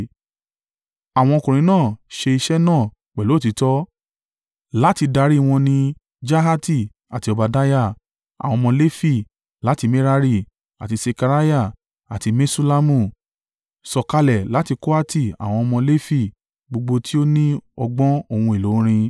Àwọn ọkùnrin náà ṣe iṣẹ́ náà pẹ̀lú òtítọ́, láti darí wọn ní Jahati àti Obadiah, àwọn ọmọ Lefi láti Merari, àti Sekariah àti Meṣullamu, sọ̀kalẹ̀ láti Kohati àwọn ọmọ Lefi gbogbo tí ó ní ọgbọ̀n ohun èlò orin.